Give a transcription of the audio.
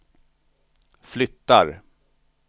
flyttar